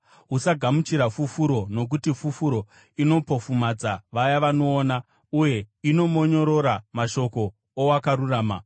“Usagamuchira fufuro, nokuti fufuro inopofumadza vaya vanoona uye inomonyorora mashoko owakarurama.